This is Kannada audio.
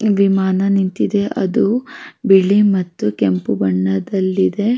ವಿಮಾನ ನಿಂತಿದೆ ಅದು ಬಿಳಿ ಮತ್ತು ಕೆಂಪು ಬಣ್ಣದಲ್ಲಿದೆ --